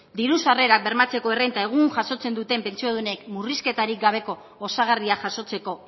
diru sarrerak bermatzeko errenta egun jasotzen duten pentsiodunek murrizketarik gabeko osagarria jasotzeko